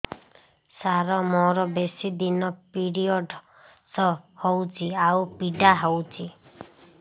ସାର ମୋର ବେଶୀ ଦିନ ପିରୀଅଡ଼ସ ହଉଚି ଆଉ ପୀଡା ହଉଚି